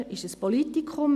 Prêles ist ein Politikum.